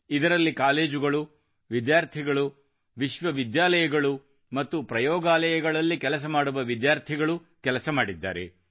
ಇದರಲ್ಲಿ ಕಾಲೇಜುಗಳು ವಿದ್ಯಾರ್ಥಿಗಳು ವಿಶ್ವವಿದ್ಯಾಲಯಗಳು ಮತ್ತು ಪ್ರಯೋಗಾಲಯದಲ್ಲಿ ಕೆಲಸ ಮಾಡುವ ಖಾಸಗಿ ವಿದ್ಯಾರ್ಥಿಗಳು ಕೆಲಸಮಾಡಿದ್ದಾರೆ